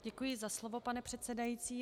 Děkuji za slovo, pane předsedající.